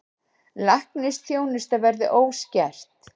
Læknisþjónusta verði óskert